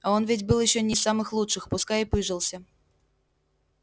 а он ведь был ещё не из самых лучших пускай и пыжился